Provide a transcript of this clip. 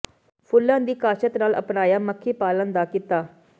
ਫੁੱਲਾਂ ਦੀ ਕਾਸ਼ਤ ਨਾਲ ਅਪਣਾਇਆ ਮੱਖੀ ਪਾਲਣ ਦਾ ਕਿੱਤਾ